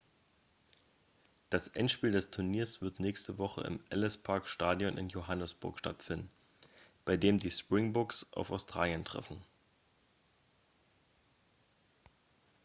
das endspiel des turniers wird nächste woche im ellis-park-stadion in johannesburg stattfinden bei dem die springboks auf australien treffen